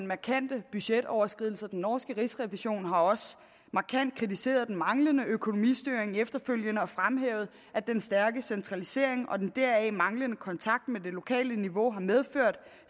markante budgetoverskridelser den norske rigsrevision har også markant kritiseret den manglende økonomistyring efterfølgende og fremhævet at den stærke centralisering og den deraf manglende kontakt med det lokale niveau har medført